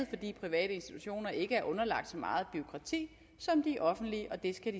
fordi private institutioner ikke er underlagt så meget bureaukrati som de offentlige